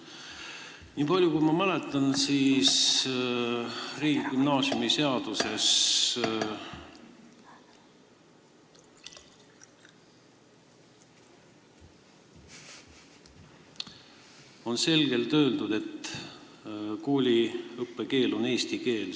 Niipalju, kui ma mäletan, on riigigümnaasiumi kohta seaduses selgelt öeldud, et kooli õppekeel on eesti keel.